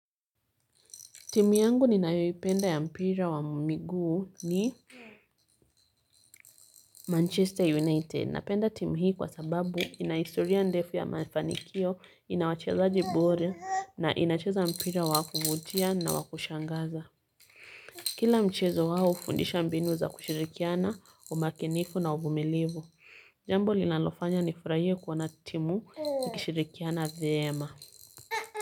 Timu yangu ninayoipenda ya mpira wa miguu ni Manchester United. Napenda timu hii kwa sababu ina historia ndefu ya mafanikio, inawachezaji bora na inacheza mpira wa kuvutia na wa kushangaza. Kila mchezo wao hufundisha mbinu za kushirikiana, umakinifu na uvumilivu. Jambi linalofanya nifurahie kuona timu ikishirikiana vyema.